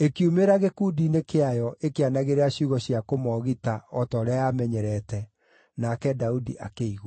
ĩkiumĩra gĩkundi-inĩ kĩayo ĩkĩanagĩrĩra ciugo cia kũmoogita o ta ũrĩa yamenyerete, nake Daudi akĩigua.